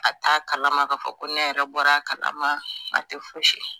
A t'a kalama k'a fɔ ko ne yɛrɛ bɔra a kalama a tɛ fosi